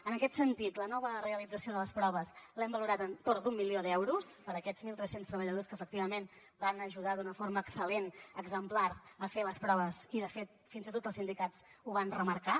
en aquest sentit la nova realització de les proves l’hem valorat entorn d’un milió d’euros per a aquests mil tres cents treballadors que efectivament van ajudar d’una forma excel·lent exemplar a fer les proves i de fet fins i tot els sindicats ho van remarcar